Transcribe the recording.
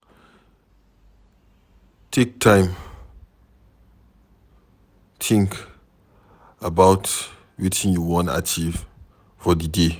Take time think about wetin you wan achieve for di day